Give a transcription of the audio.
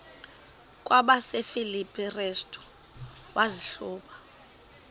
kwabasefilipi restu wazihluba